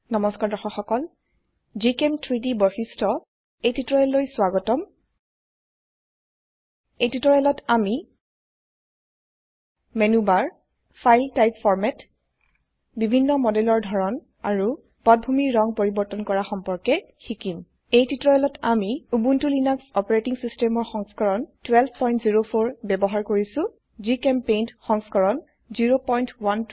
নমস্কাৰ দৰ্শক সকল gchem3ডি বৈশিষ্ট্য এই টিউটৰিয়েললৈ স্ৱাগতম এই টিউটৰিয়েলত আমি menu bar file type format বিভিন্ন মডেলৰ ধৰন আৰু পটভূমিৰ ৰঙ পৰিবৰ্তন কৰা সম্পৰ্কে শিকিম এই টিউটৰিয়েলত আমি উবুন্টু লিনাক্স অপাৰেটিং সিস্টেমৰ সংস্কৰণ 1204 ব্যবহাৰ কৰিছো জিচেম্পেইণ্ট সংস্কৰণ 01210